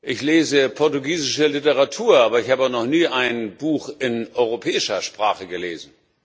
Ich lese portugiesische Literatur, aber ich habe noch nie ein Buch in europäischer Sprache gelesen.